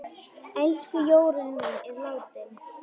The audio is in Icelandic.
Elsku Jórunn mín er látin.